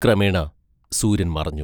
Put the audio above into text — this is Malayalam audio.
ക്രമേണ സൂര്യൻ മറഞ്ഞു.